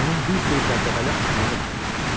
Onun bir sürü dəbdəbəli adları var idi.